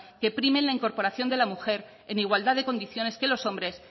que primen la incorporación de la mujer en igualdad de condiciones que los hombres